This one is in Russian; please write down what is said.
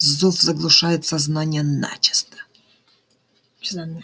зов заглушает сознание начисто